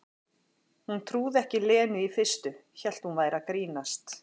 Hún trúði ekki Lenu í fyrstu, hélt hún væri að grínast.